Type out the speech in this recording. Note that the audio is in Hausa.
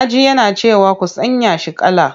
Na ji yana cewa 'ku sanya shi kala!'